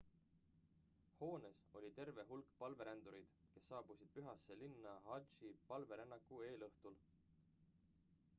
hoones oli terve hulk palverändureid kes saabusid pühasse linna hadži palverännaku eelõhtul